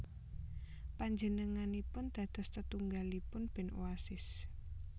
Panjenenganipun dados tetunggulipun band Oasis